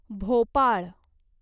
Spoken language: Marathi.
भोपाळ